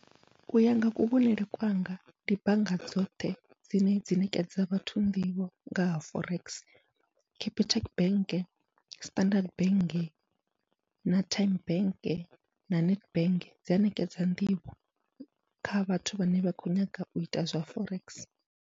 Uya nga kuvhonele kwanga ndi bannga dzoṱhe dzine dza ṋekedza vhathu nḓivho nga ha forex, Capitec bank, Standard bank, na Tyme bank na Nedbank dzi a ṋekedza nḓivho kha vhathu vhane vha khou nyanga u ita zwa forex.